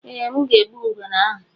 eeh, m ga-egbu ngwere ahụ